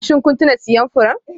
Shin kun tuna siyan furen?